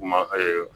Kuma